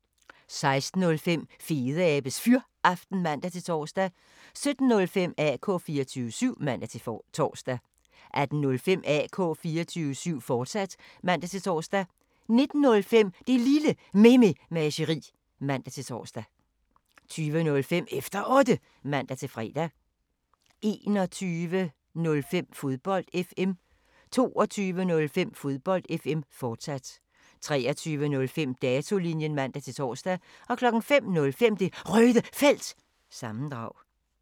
16:05: Fedeabes Fyraften (man-tor) 17:05: AK 24syv (man-tor) 18:05: AK 24syv, fortsat (man-tor) 19:05: Det Lille Mememageri (man-tor) 20:05: Efter Otte (man-fre) 21:05: Fodbold FM 22:05: Fodbold FM, fortsat 23:05: Datolinjen (man-tor) 05:05: Det Røde Felt – sammendrag